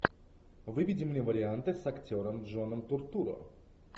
выведи мне варианты с актером джоном туртурро